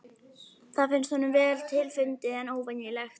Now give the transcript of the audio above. Það finnst honum vel til fundið en óvenjulegt.